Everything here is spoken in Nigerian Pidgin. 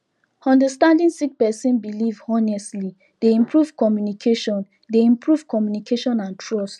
understanding sik person bilif honestly dey improve communication dey improve communication and trust